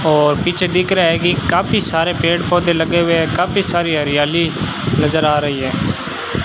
और पीछे दिख रहा है कि काफी सारे पेड़ पौधे लगे हुए है काफी सारी हरियाली नज़र आ रही है।